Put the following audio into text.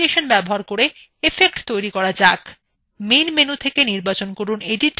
main menu থেকে নির্বাচন from edit এবং click from duplicate